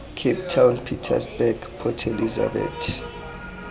cape town pietersburg port elizabeth